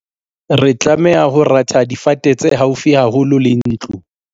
re tlameha ho ratha difate tse haufi haholo le ntlo